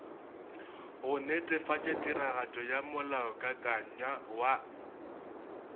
go netefatšatiragatšo ya molaokakanywa wa